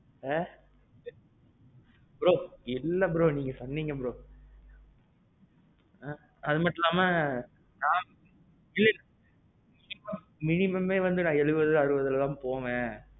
bro இல்ல bro நீங்க சொன்னிங்க bro. அது மட்டும் இல்லாமே நான். இல்ல. இப்போ minimum ஏ நான் அறுவது எழுவதுல தான் போவேன்.